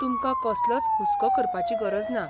तुमकां कसलोच हुसको करपाची गरज ना.